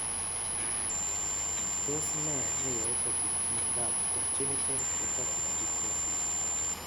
Tos ne neyoe kobit miondop Congenital hepatic fibrosis